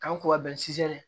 K'an ko ka bɛn